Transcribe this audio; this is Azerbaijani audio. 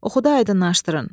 Oxudu, aydınlaşdırın.